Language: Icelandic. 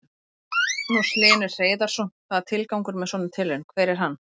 Magnús Hlynur Hreiðarsson: Hvað, tilgangur með svona tilraun, hver er hann?